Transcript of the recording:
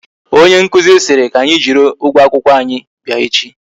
Onye nkụzi siri ànyị jiri ụgwọ akwụkwọ anyi bịa echi